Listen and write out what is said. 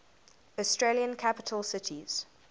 australian capital cities